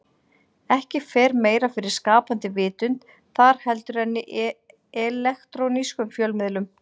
Ekki fer meira fyrir skapandi vitund þar heldur en í elektrónískum fjölmiðlum.